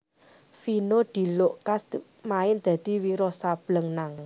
Vino diluk ngkas main dadi Wiro Sableng nang